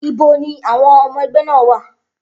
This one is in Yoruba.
Ibo ni àwọn ọmọ ẹgbẹ́ náà wà?